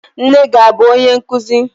Nne gị abụ onye nkụzi?